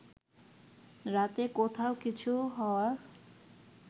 রাতে কোথাও কিছু হওয়ার